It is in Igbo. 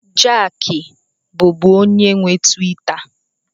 Jack bụbu onye nwe Tiwita.